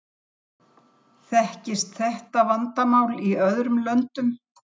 Þekkist þetta vandamál í öðrum löndum?